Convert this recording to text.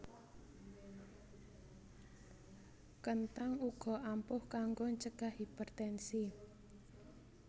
Kenthang uga ampuh kanggo ncegah hipertensi